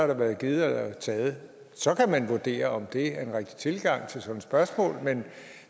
der været givet og taget så kan man vurdere om det er en rigtig tilgang til sådan et spørgsmål men